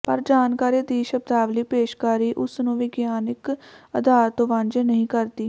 ਪਰ ਜਾਣਕਾਰੀ ਦੀ ਸ਼ਬਦਾਵਲੀ ਪੇਸ਼ਕਾਰੀ ਉਸ ਨੂੰ ਵਿਗਿਆਨਕ ਅਧਾਰ ਤੋਂ ਵਾਂਝੇ ਨਹੀਂ ਕਰਦੀ